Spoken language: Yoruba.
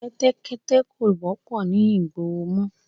Kẹ́tẹ́kẹ́tẹ́ kò wọ́pọ̀ ni ìgboro mọ